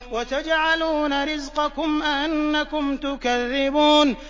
وَتَجْعَلُونَ رِزْقَكُمْ أَنَّكُمْ تُكَذِّبُونَ